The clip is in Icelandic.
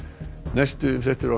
næstu fréttir